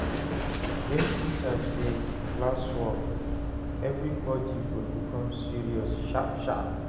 Wen teacher say "Classwork" everybody go become serious sharp sharp.